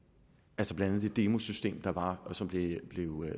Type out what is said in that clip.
blandt andet det demosystem der var og som blev